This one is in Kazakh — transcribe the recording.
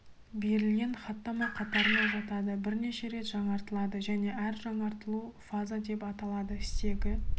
берілген хаттама қатарына жатады бірнеше рет жаңартылады және әр жаңартылу фаза деп аталады стегі